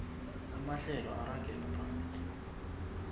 amahlelo aragela phambili